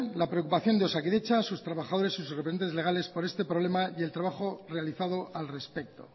la preocupación de osakidetza sus trabajadores y sus representantes legales por este problema y el trabajo realizado al respecto